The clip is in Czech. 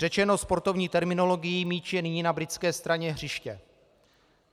Řečeno sportovní terminologií, míč je nyní na britské straně hřiště.